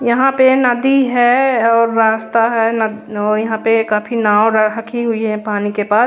यहाँ पे नदी है और रास्ता है नाद न यहाँ पे काफी नाओ राखी हुई है पानी के पास ।